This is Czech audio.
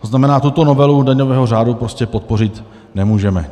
To znamená, tuto novelu daňového řádu prostě podpořit nemůžeme.